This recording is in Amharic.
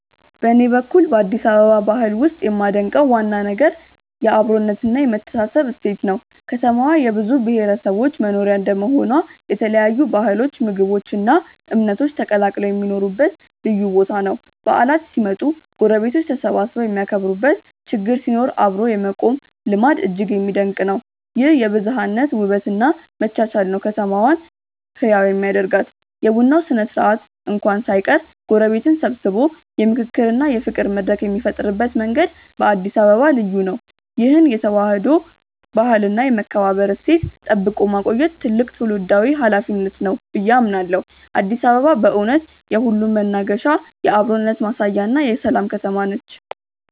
በኔ በኩል በአዲስ አበባ ባህል ውስጥ የማደንቀው ዋና ነገር የአብሮነትና የመተሳሰብ እሴት ነው። ከተማዋ የብዙ ብሔረሰቦች መኖሪያ እንደመሆኗ የተለያዩ ባህሎች ምግቦች እና እምነቶች ተቀላቅለው የሚኖሩበት ልዩ ቦታ ነው። በዓላት ሲመጡ ጎረቤቶች ተሰባስበው የሚያከብሩበት ችግር ሲኖር አብሮ የመቆም ልማድ እጅግ የሚደነቅ ነው። ይህ የብዝሃነት ውበት እና መቻቻል ነው ከተማዋን ህያው የሚያደርጋት። የቡና ስነ-ስርዓት እንኳን ሳይቀር ጎረቤትን ሰብስቦ የምክክርና የፍቅር መድረክ የሚፈጥርበት መንገድ በአዲስ አበባ ልዩ ነው። ይህን የተዋህዶ ባህልና የመከባበር እሴት ጠብቆ ማቆየት ትልቅ ትውልዳዊ ኃላፊነት ነው ብዬ አምናለሁ። አዲስ አበባ በእውነት የሁሉም መናገሻ፣ የአብሮነት ማሳያና የሰላም ከተማ ነች።